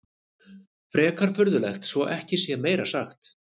Frekar furðulegt svo ekki sé meira sagt.